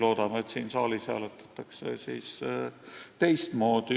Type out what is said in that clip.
Loodame, et siin saalis hääletatakse teistmoodi.